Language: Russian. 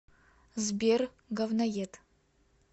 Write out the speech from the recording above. сбер говноед